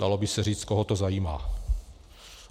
Dalo by se říct - koho to zajímá.